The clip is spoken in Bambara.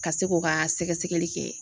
Ka se k'o ka sɛgɛsɛgɛli kɛ